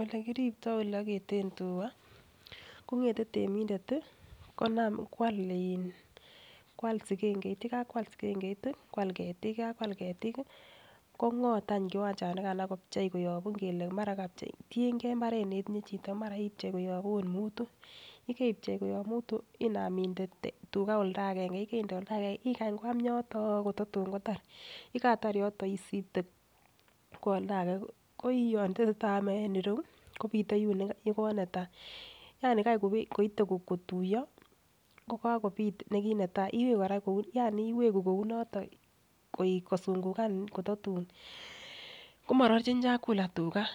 Ole kirupto ole oketen tugaa kongete temindet tii konam. Kwal in sikengeit yekakwal sikengeit kwal ketik yekakwal ketik kongot anch kiwanchanikan ak kobchi koyon ingele mara kokapchei tiyengee imbaret netinye chito mara ipchei koyob ot mutu. Yekipchei koyob mutu inam inde tugaa olda agenge, yekende olda agenge ikany kwam yotoon kotatun kotar, yekaitar yoton isipte kwo oldage ko yon tesetai ome en ireyuu kopite yukonetai yani Kai koite kotuyo kokakopit nekinetai kou yani iweki kou noton kosungukan kotatun komororchin chakula tugaa.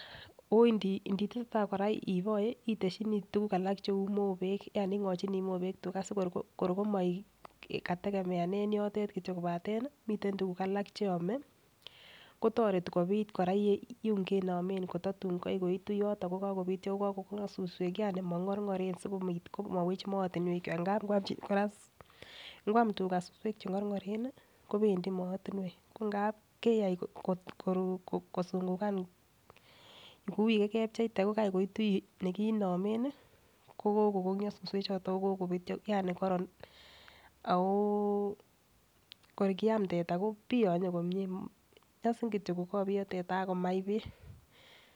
Ondi nditesetiai koraa inoe iteshini tukuk alak cheu mobeku yani ingochinii mobek tugaa sikor kor komoik kategemeanen yoton kityok kobaten miten tukuk alak cheyome kotoreti koraa kobit yum kenomen kotatun gai koitu yoton ko kako konyo siwek yani mogorgoren sikopit komowech mootinwek ngap ikwam Koraa. Nkwam tugaa suswek chengorgoren kopendii mootinwek ko ngab keyai kosungukan kou yekokepcheite ko Kai koitu yuu kinome nii ko kokongyo suswek choton oko kopityo yani kororon ako kor kiam teta kopiyonye komie myosin kityok kokoiyo teta akomach beek.